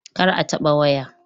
Kar a taɓa waya!